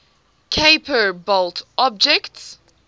kuiper belt objects